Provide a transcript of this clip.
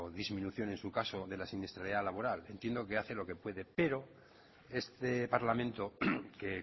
disminución en su caso de la siniestralidad laboral entiendo que hace lo que puede pero este parlamento que